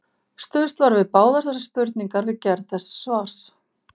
Stuðst var við báðar þessar spurningar við gerð þessa svars.